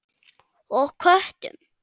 Og köttum.